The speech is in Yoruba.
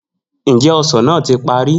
Njẹ osan naa ti pari?